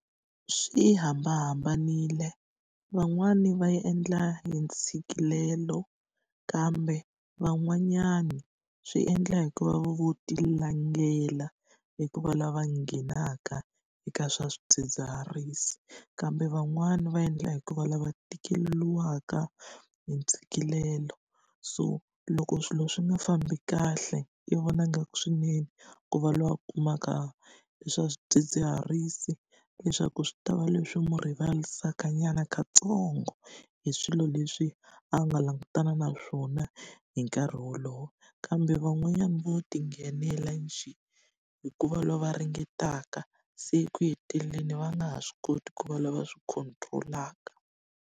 Swi hambanahambanile, van'wani va yi endla hi ntshikelelo kambe van'wanyani swi endla hi ku va va lo ti langela eku va lava nghenaka eka swa swidzidziharisi. Kambe van'wani va endla hikuva lava va tikeriwaka hi ntshikelelo. So loko swilo swi nga fambi kahle, i vona nga ku swinene ku va loyi kumaka leswi swa swidzidziharisi leswaku swi ta va leswi n'wi rivarisanyana katsongo hi swilo leswi a nga langutana na swona hi nkarhi wolowo. Kambe van'wanyana vo ti nghenela njhe, hikuva va ringetaka se eku heteleleni va nga ha swi koti ku va lava swi control-aka.